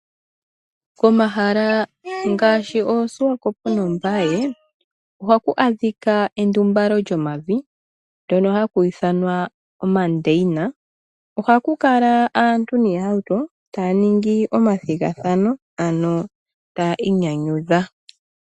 Komahala ngaashi oSwakopo nOmbaye, ohaku adhika endumbalo lyomavi, hoka haku ithanwa omandeyina. Ohaku kala aantu niihauto, taya ningi omathigathano, ano tayi inyanyudha.